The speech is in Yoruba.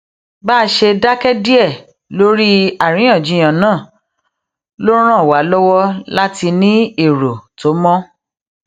bá a ṣe dáké díè lórí àríyànjiyàn náà ló ràn wá lówó láti ní èrò tó mó